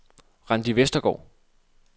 Randi Vestergaard